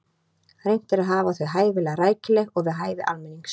Reynt er að hafa þau hæfilega rækileg og við hæfi almennings.